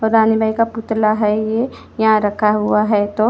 और रानी भाई का पुतला है ये यहाँ रखा हुआ है तो--